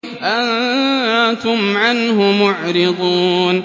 أَنتُمْ عَنْهُ مُعْرِضُونَ